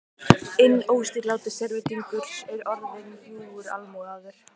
Inn óstýriláti sérvitringur er orðinn bljúgur almúgamaður.